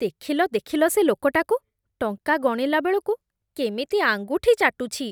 ଦେଖିଲ ଦେଖିଲ, ସେ ଲୋକଟାକୁ! ଟଙ୍କା ଗଣିଲା ବେଳକୁ କେମିତି ଆଙ୍ଗୁଠି ଚାଟୁଛି!